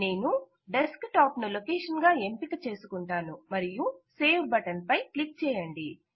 నేను desktop ను location గా ఎంపికచేసు కుంటాను మరియు సేవ్ బటన్ పై క్లిక్ చేయండి